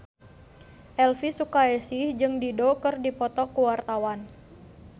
Elvy Sukaesih jeung Dido keur dipoto ku wartawan